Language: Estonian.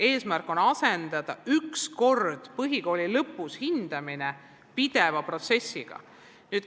Eesmärk on asendada põhikooli lõpus läbiviidav ühekordne hindamine pideva protsessiga.